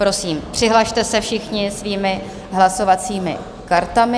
Prosím, přihlaste se všichni svými hlasovacími kartami.